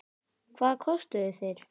Hvað kostuðu þeir?